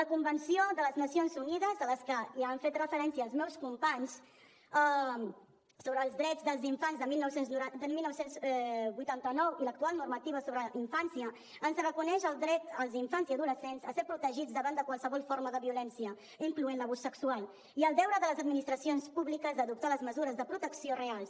la convenció de les nacions unides a la qual ja han fet referència els meus companys sobre els drets dels infants de dinou vuitanta nou i l’actual normativa sobre infància reconeixen els drets als infants i adolescents a ser protegits davant de qualsevol forma de violència incloent hi l’abús sexual i el deure de les administracions públiques d’adoptar les mesures de protecció reals